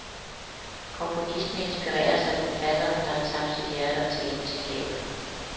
Komponisten inspireres af forfatteren, der har tabt sit hjerte og talent til havet.